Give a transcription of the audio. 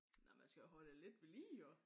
Nej man skal jo holde det lidt ved lige jo